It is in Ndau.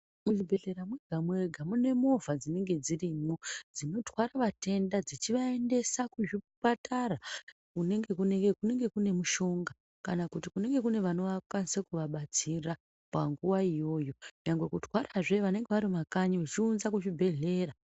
Muzvibhedhlera mwega mwega mune movha dzinenge dzirimo dzinotware vatenda dzichivaendesa kuzvipatara kunenge kunemushonga kana kuti kunenge kune vanokwanisa kuva batsira panguva iyoyo nyangwe kutwara zve vanenge varikuma kanyi vechiunza kuzvibhedhlera.